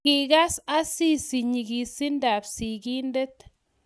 Kikas Asisi nyigisindab sigindet